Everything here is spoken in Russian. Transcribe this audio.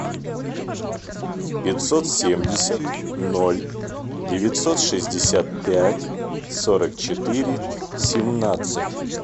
пятьсот семьдесят ноль девятьсот шестьдесят пять сорок четыре семнадцать